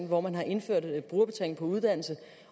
hvor man har indført brugerbetaling på uddannelse